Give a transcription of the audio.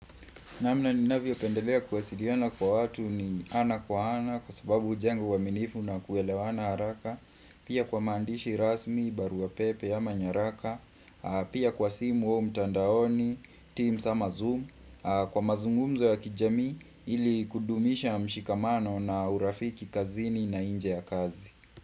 Namna ni navio pendelea kwasiliana kwa watu ni ana kwa ana kwa sababu ujenga uwaminifu na kuelewana haraka Pia kwa mandishi rasmi, barua pepe ama nyaraka Pia kwa simu wa mtandaoni, teams ama zoom Kwa mazungumzo ya kijamii ili kudumisha mshikamano na urafiki kazini na inje ya kazi.